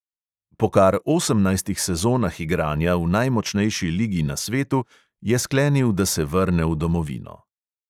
Po kar osemnajstih sezonah igranja v najmočnejši ligi na svetu je sklenil, da se vrne v domovino.